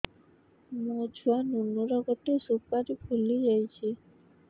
ମୋ ଛୁଆ ନୁନୁ ର ଗଟେ ସୁପାରୀ ଫୁଲି ଯାଇଛି